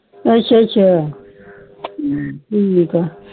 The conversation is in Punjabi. ਅੱਛਾ ਅੱਛਾ ਠ੍ਕ ਆ